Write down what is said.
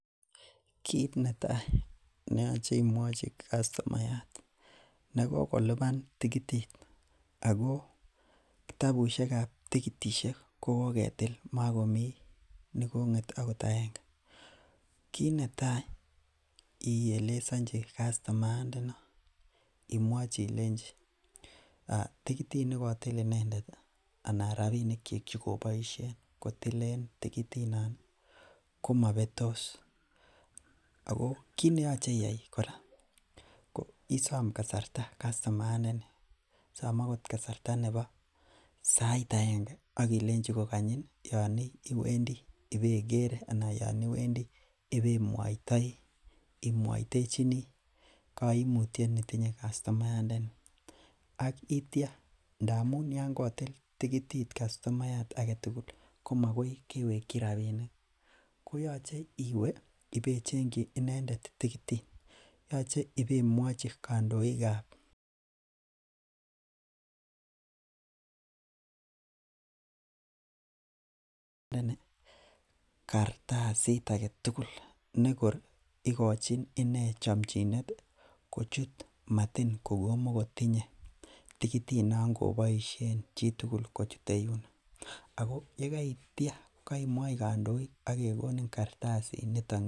Kit netai neyoche imwachi kastomayat nekokoluban tikitit ako kitabusiekab tikitisiek ko koketil makomi nekong'et akot aenge en choton kit netai neyoche ielezanchi kastomayat ndenon ih. ko ilenchi robinik chon ko alen tikitit no ko mabetos. Ako kit neyache iyai kora ko isam kasarta kastomayat ndeni. Som akot kasarta nebo sait agenge akilenchi iwendii Yoon iwendii ibeker anan Yoon ibemuachi cheechen kaimutiet netinye kastomayat ndeni. Aitia ngamuun yoon kotil tikitit kastomayat agetugul ih , ko makoi kewekchi rabinik, koyache ibecheng inendet tikitit. Yoche ibemwachi kandoikab Kartasit agetugul nekor ikochin inendet chamchinet ih kochut matin kokomoko tinye tikitit nangoboisien chitugul kochute yuuno. Yeitia kaimouchi agekonin kartasit